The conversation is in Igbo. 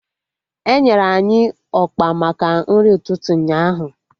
Enyere anyị ọkpa maka nri ụtụtụ ụnyaahụ